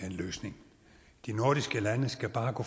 en løsning de nordiske lande skal bare gå